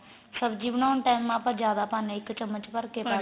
ਸਬਜੀ ਬਣਾਉਣ time ਆਪਾਂ ਜਿਆਦਾ ਪਾਨੇ ਆ ਇੱਕ ਚਮਚ ਭਰ ਕੇ